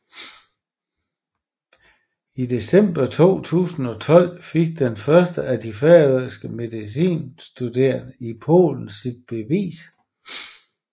I december 2012 fik den første af de færøske medicinstuderende i Polen sit bevis